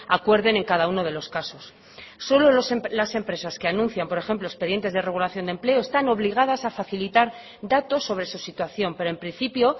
acuerden en cada uno de los casos solo las empresas que anuncian por ejemplo expedientes de regulación de empleo están obligadas a facilitar datos sobre su situación pero en principio